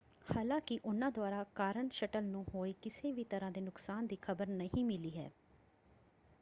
ਹਾਲਾਂਕਿ ਉਹਨਾਂ ਦੁਆਰਾ ਕਾਰਨ ਸ਼ਟਲ ਨੂੰ ਹੋਏ ਕਿਸੇ ਵੀ ਤਰ੍ਹਾਂ ਦੇ ਨੁਕਸਾਨ ਦੀ ਖਬਰ ਨਹੀਂ ਮਿਲੀ ਹੈ।